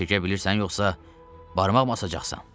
qol çəkə bilirsən yoxsa barmaq basacaqsan?